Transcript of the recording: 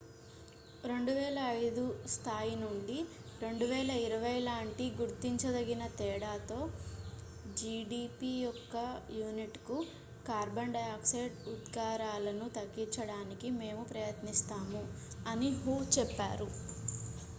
"""2005 స్థాయి నుండి 2020 లాంటి గుర్తించదగిన తేడాతో జిడిపి యొక్క యూనిట్​కు కార్బన్ డయాక్సైడ్ ఉద్గారాలను తగ్గించడానికి మేము ప్రయత్నిస్తాము" అని హు చెప్పారు.